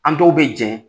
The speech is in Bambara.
An dɔw bɛ jɛn